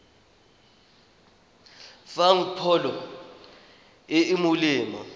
fang pholo e e molemo